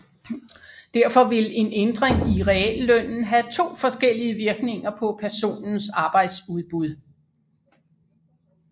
Derfor vil en ændring i reallønnen have to forskellige virkninger på personens arbejdsudbud